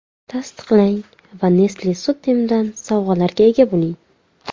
Tasdiqlang va Nestle® Sutim’dan sovg‘alarga ega bo‘ling!